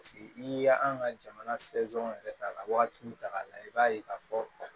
Paseke n'i y'an ka jamana yɛrɛ ta ka waati min ta k'a lajɛ i b'a ye k'a fɔ